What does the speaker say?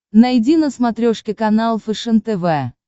найди на смотрешке канал фэшен тв